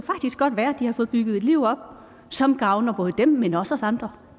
har fået bygget et liv op som gavner både dem men også os andre